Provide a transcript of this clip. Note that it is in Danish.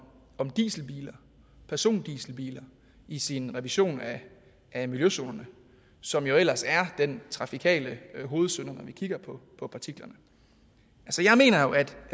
dieselbiler persondieselbiler i sin revision af miljøzonerne som jo ellers er den trafikale hovedsynder når vi kigger på partiklerne jeg mener at